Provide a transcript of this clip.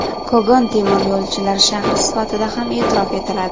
Kogon temiryo‘lchilar shahri sifatida ham e’tirof etiladi.